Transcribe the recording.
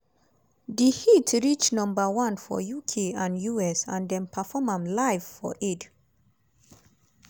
di hit reach number one for uk and us and dem perform am live for aid.